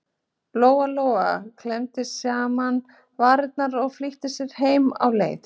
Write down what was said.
Lóa Lóa klemmdi saman varirnar og flýtti sér heim á leið.